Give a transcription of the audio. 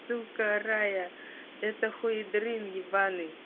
ссылка рая это хуй дрин ебаный